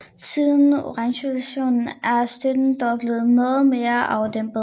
Siden Orangerevolutionen er støtten dog blevet noget mere afdæmpet